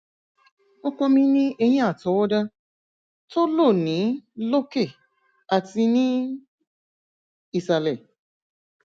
ọkọ mi ní eyín àtọwọdá tó lò ní lókè àti ní ìsàlẹ